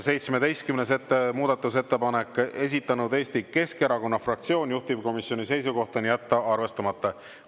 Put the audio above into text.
17. muudatusettepanek, esitanud Eesti Keskerakonna fraktsioon, juhtivkomisjoni seisukoht: jätta arvestamata.